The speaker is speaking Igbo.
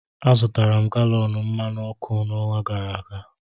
Azụtara m galọn mmanụ ọkụ n'ọnwa gara aga